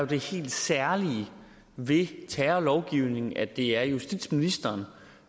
det helt særlige ved terrorlovgivningen at det er justitsministeren